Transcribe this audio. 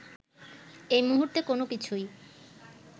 এই মুহূর্তে কোনোকিছুই